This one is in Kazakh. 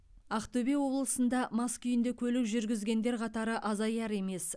ақтөбе облысында мас күйінде көлік жүргізгендер қатары азаяр емес